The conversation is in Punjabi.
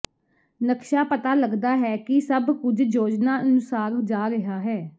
ਨਕਸ਼ਾ ਪਤਾ ਲੱਗਦਾ ਹੈ ਕਿ ਸਭ ਕੁਝ ਯੋਜਨਾ ਅਨੁਸਾਰ ਜਾ ਰਿਹਾ ਹੈ